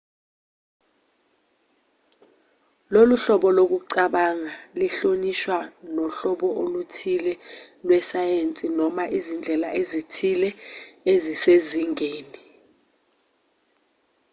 lolu hlobo lokucabanga lihlotshaniswa nohlobo oluthile lwesayensi noma izindlela ezithile ezisezingeni